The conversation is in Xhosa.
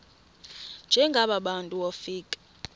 njengaba bantu wofika